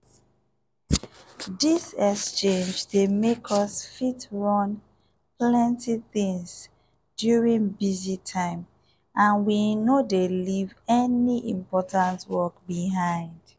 this exchange dey make us fit run plenty things during busy time and we no dey leave any important work behind.